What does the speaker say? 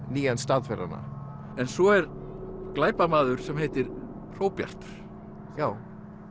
nýjan stað fyrir hana en svo er glæpamaður sem heitir Hróbjartur já